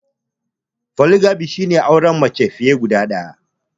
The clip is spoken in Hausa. Foligamy shi ne auren mace fiye da daya.